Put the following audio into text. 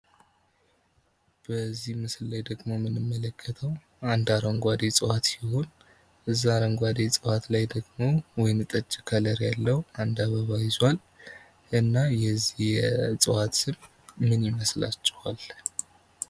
በዚህ ምስል ላይ ደግሞ የምንመለከተው አንድ አረንጓዴ እጽዋት ሲሆን እዛ አረንጓዴ እጽዋት ላይ ደግም ወይንጠጅ ያለው አንድ አበባ ይዟል። እና የዚህ እጽዋት ስም ምን ይመስላችኋል?